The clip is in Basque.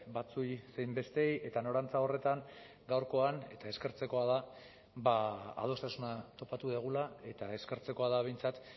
batzuei zein besteei eta norantza horretan gaurkoan eta eskertzekoa da adostasuna topatu dugula eta eskertzekoa da behintzat